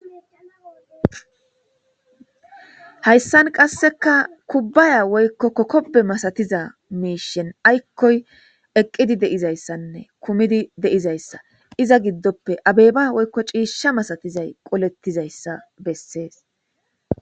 Hayssan qasseka kubbaya woykko kokkoppe masatiza miishen aykkoy eqqidi deizayssanne kumidi deizayssa iza giddoppe abeyba woykko ciishsha masatizay qolettizayssa bessees.